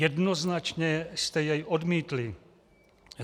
Jednoznačně jste jej odmítli.